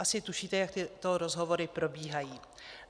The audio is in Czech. Asi tušíte, jak tyto rozhovory probíhají.